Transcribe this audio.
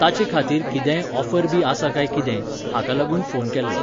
ताचे खातीर कितेंय ऑफर बी आसा काय कितें, हाका लागून फोन केल्लो.